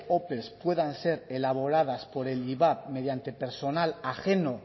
opes puedan ser elaboradas por el ivap mediante personal ajeno